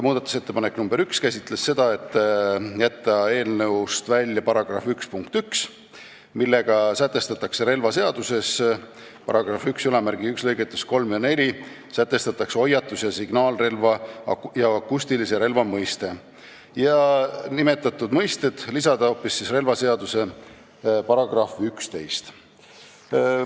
Muudatusettepanek nr 1 on jätta eelnõust välja § 1 punkt 1, millega sätestatakse relvaseaduses § 11 lõigetes 3 ja 4 hoiatus- ja signaalrelva ning akustilise relva mõiste, lisada aga nimetatud terminid hoopis relvaseaduse § 11 alla.